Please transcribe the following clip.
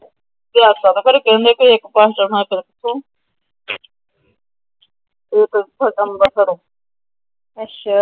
ਉੱਥੋਂ ਅੰਬੇਰਸਰੋ। ਅੱਛਾ